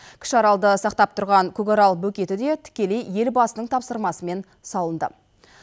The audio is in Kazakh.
кіші аралды сақтап тұрған көкарал бөгеті де тікелей елбасының тапсырмасымен салынды